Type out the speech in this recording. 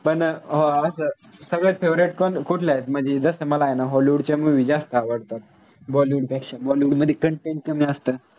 पन अं असं सगळ्यात favorite कोन कुठल्यात म्हणजे जस मला आय न hollywood च्या movie जास्त आवडतात. bollywood पेक्षा bollywood मधी content कमी आसत.